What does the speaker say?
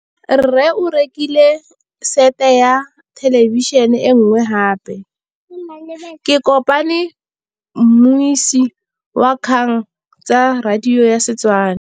Rre o rekile sete ya thêlêbišênê e nngwe gape. Ke kopane mmuisi w dikgang tsa radio tsa Setswana.